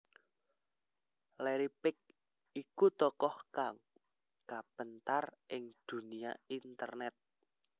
Larry Page iku tokoh kang kapéntar ing dunia internét